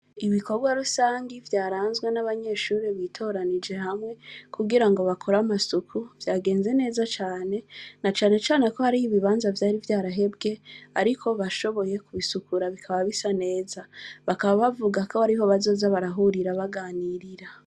Ibikobwa rusangi vyaranzwe n'abanyeshure bitoranije hamwe, kugirango bakore amasuku ,vyagenze neza cane, na cane cane ko hariho ibibanza vyari vyarahebwe, ariko bashoboye kubisukura bikaba bisa neza, bakaba bavuga ko ariho bazoza barahurira baganirira.